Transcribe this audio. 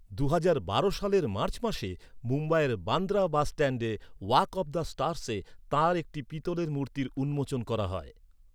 দুহাজার বারো সালের মার্চ মাসে মুম্বাইয়ের বান্দ্রা বাসস্ট্যান্ডে ওয়াক অফ দ্য স্টারসে তাঁর একটি পিতলের মূর্তির উন্মোচন করা হয়।